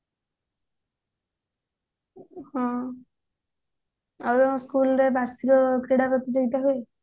ହଁ ଆଉ school ରେ ବାର୍ଷିକ କ୍ରୀଡା ପ୍ରତିଯୋଗୀତା ହୁଏ